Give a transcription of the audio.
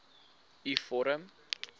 u vorm